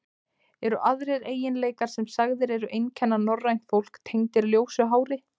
Eru aðrir eiginleikar, sem sagðir eru einkenna norrænt fólk, tengdir ljósu hári?